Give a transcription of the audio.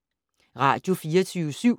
Radio24syv